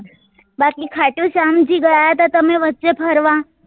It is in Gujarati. બાકી ખાટું શ્યામજી ગયા હતા તમે વચે ફરવા